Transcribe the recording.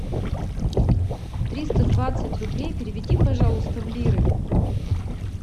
триста двадцать рублей переведи пожалуйста в лиры